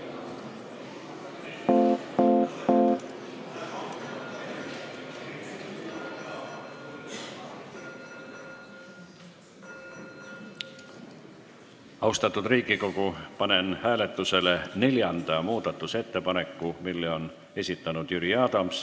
Austatud Riigikogu, panen hääletusele neljanda muudatusettepaneku, mille on esitanud Jüri Adams.